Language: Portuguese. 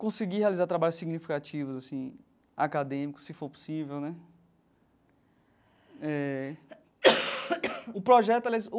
conseguir realizar trabalhos significativos assim acadêmicos, se for possível né eh o projeto aliás o.